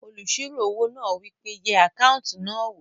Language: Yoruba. Olùsirò owó náà wí pé "yẹ àkáùntì náà wò!"